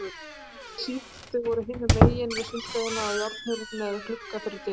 Þeir síðarnefndu voru hinum megin við sundlaugina, og járnhurð með glugga fyrir dyrum.